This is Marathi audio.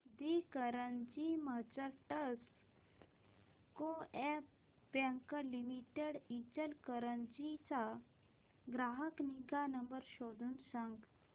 दि Ichalkaranji merchants coop bank limited Ichalkaranji चा ग्राहक निगा नंबर शोधून सांग